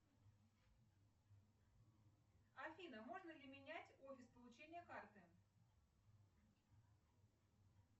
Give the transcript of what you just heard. афина можно ли менять офис получения карты